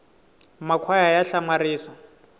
makhwaya ya hlamaria